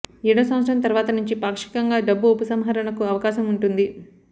ఏడో సంవత్సరం తర్వాత నుంచి పాక్షికంగా డబ్బు ఉపసంహరణకు అవకాశం ఉంటుంది